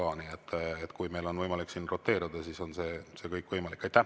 Nii et kui meil on võimalik roteeruda, siis on see kõik võimalik.